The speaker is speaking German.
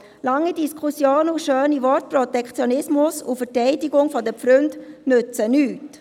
Lange Diskussionen und schöne Worte, Protektionismus und Verteidigung der Pfründe nützen nichts.